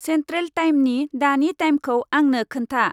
Central टाइमनि दानि टाइमखौ आंनो खोन्था।